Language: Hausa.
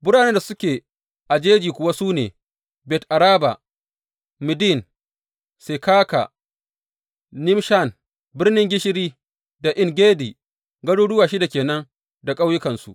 Biranen da suke a jeji kuwa su ne, Bet Araba, Middin, Sekaka, Nibshan, Birnin gishiri da En Gedi, garuruwa shida ke nan da ƙauyukansu.